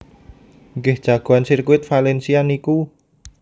Nggih jagoan sirkuit Valencia niku